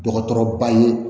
Dɔgɔtɔrɔba ye